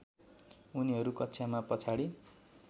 उनीहरू कक्षामा पछाडि